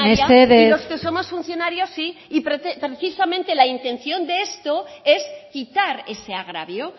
mesedez y los que somos funcionarios sí precisamente la intención de esto es quitar ese agravio